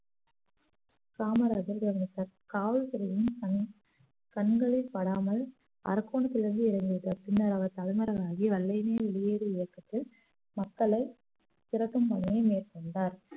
காமராஜர் தனது கா~ காவல்துறையின் கண்~ கண்களில் படாமல் அரக்கோணத்தில் இருந்து இறங்கியிருக்கார் பின்னர் அவர் தலைமறைவாகி வெள்ளையனே வெளியேறு இயக்கத்தில் மக்களை திறட்டும் பணியை மேற்கொண்டார்